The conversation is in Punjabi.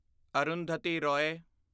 ਅਰੁੰਧਤੀ ਰੋਏ